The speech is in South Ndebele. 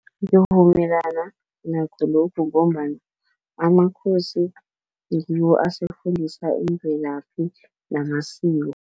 Ngivumelana nakho lokhu, ngombana amakhosi ngiwo asifundisa imvelaphi namasiko.